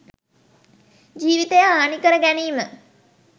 ජීවිතය හානි කර ගැනීම